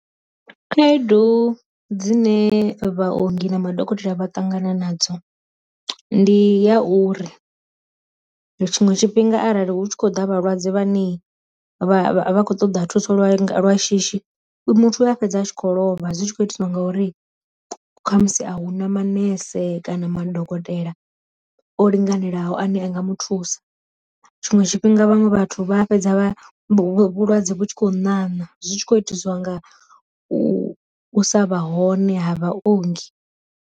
Khaedu dzine vha ongi na madokotela vha ṱangana nadzo ndi ya uri, tshiṅwe tshifhinga arali hu tshi khou ḓa vhalwadze vha ne vha khou ṱoḓa thuso lwa lwa shishi muthu a fhedza a tshikho lovha zwi tshi khou itiwa ngauri khamusi a hu na manese kana madokotela o linganelaho ane anga mu thusa, tshiṅwe tshifhinga vhaṅwe vhathu vha fhedza vha vhulwadze vhu tshi kho ṋaṋa zwi tshi kho itiswa nga u sa vha hone ha vha ongi.